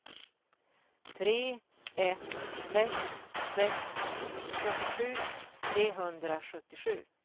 tre ett sex sex fyrtiosju trehundrasjuttiosju